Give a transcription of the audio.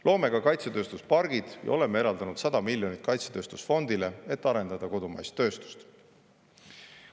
Loome ka kaitsetööstuspargid ja oleme eraldanud 100 miljonit kaitsetööstusfondile, et arendada kodumaist tööstust.